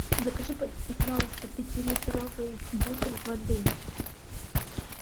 закажи пожалуйста пятилитровый бутыль воды